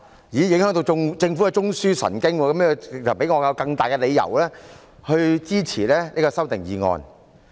原來這樣會影響到政府的中樞神經，這給予我更充分的理由支持這些修訂議案。